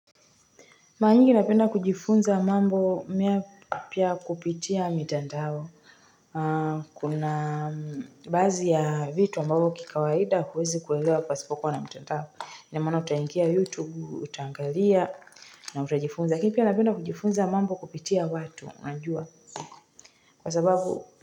Mara nyingi napenda kujifunza mambo mapya kupitia mitandao. Kuna baadhi ya vitu ambavyo kikawaida huwezi kuelewa pasipo kuwa na mtandao. Ina maana utaingia YouTube, utaangalia na utajifunza. Mi pia napenda kujifunza mambo kupitia watu, unajua. Kwa sababu.